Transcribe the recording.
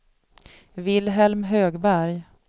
Vilhelm Högberg